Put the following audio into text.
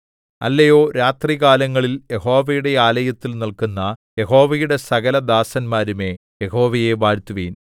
അല്ലയോ രാത്രികാലങ്ങളിൽ യഹോവയുടെ ആലയത്തിൽ നില്ക്കുന്ന യഹോവയുടെ സകല ദാസന്മാരുമേ യഹോവയെ വാഴ്ത്തുവിൻ